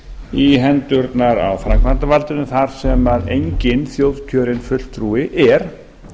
í hendurnar á framkvæmdarvaldinu þar sem enginn þjóðkjörinn fulltrúi er